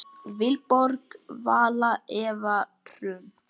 Vilborg Vala og Eva Hrund.